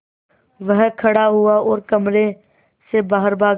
वह खड़ा हुआ और कमरे से बाहर भागा